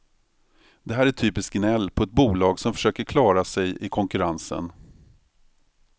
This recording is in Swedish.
Det här är typiskt gnäll på ett bolag som försöker klara sig i konkurrensen.